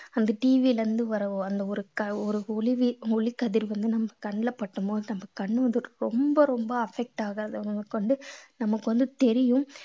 அந்த TV ல இருந்து வர ஒ~ அந்த ஒரு க~ ஒரு ஒளிவீ~ ஒளிக்கதிர் வந்து நம்ம கண்ணுல படும் போது நம்ம கண்ணு வந்து ரொம்ப ரொம்ப affect ஆகுது அவங்களுக்கு வந்து நமக்கு வந்து தெரியும்